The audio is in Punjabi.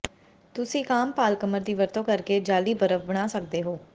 ਤੁਸੀਂ ਇੱਕ ਆਮ ਪਾਲਕਮਰ ਦੀ ਵਰਤੋਂ ਕਰਕੇ ਜਾਅਲੀ ਬਰਫ ਬਣਾ ਸਕਦੇ ਹੋ